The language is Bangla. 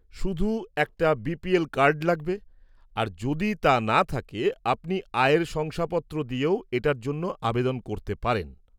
-শুধু একটা বিপিএল কার্ড লাগবে, আর যদি তা না থাকে, আপনি আয়ের শংসাপত্র দিয়েও এটার জন্য আবেদন করতে পারেন।